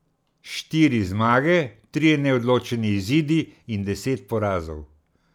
Štiri zmage, trije neodločeni izidi in deset porazov.